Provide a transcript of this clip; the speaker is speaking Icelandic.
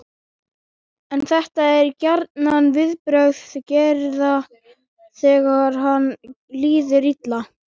En þetta eru gjarnan viðbrögð Gerðar þegar henni líður illa.